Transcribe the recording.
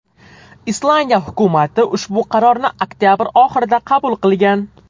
Islandiya hukumati ushbu qarorni oktabr oxirida qabul qilgan.